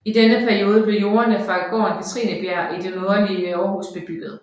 I denne periode blev jordene fra gården Katrinebjerg i det nordlige Aarhus bebygget